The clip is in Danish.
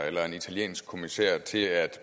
eller en italiensk kommissær til at